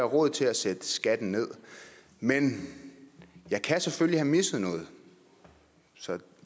råd til at sætte skatten ned men jeg kan selvfølgelig have misset noget så